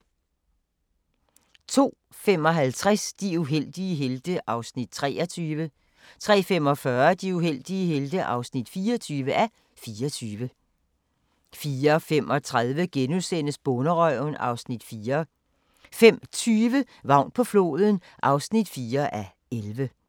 02:55: De uheldige helte (23:24) 03:45: De uheldige helte (24:24) 04:35: Bonderøven (Afs. 4)* 05:20: Vagn på floden (4:11)